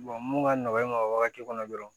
mun ka nɔgɔn e ma o wagati kɔnɔ dɔrɔn